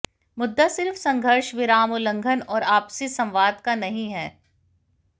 मुद्दा सिर्फ संघर्ष विराम उल्लंघन और आपसी संवाद का नहीं है